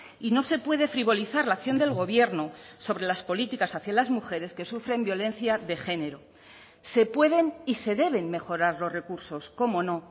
y no se puede frivolizar la acción del gobierno sobre las políticas hacia las mujeres que sufren violencia de género se pueden y se deben mejorar los recursos cómo no